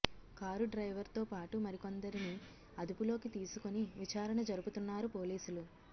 car driver తో పాటు మరికొందరిని అదుపులోకి తీసుకొని విచారణ జరుపుతున్నారు పోలీసులు